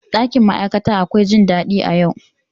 Ɗakin ma'aikata akwai jin daɗi a yau.